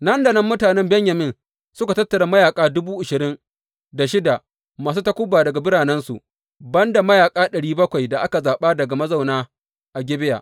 Nan da nan mutanen Benyamin suka tattara mayaƙa dubu ashirin da shida masu takuba daga biranensu, ban da mayaƙa ɗari bakwai da aka zaɓa daga mazauna a Gibeya.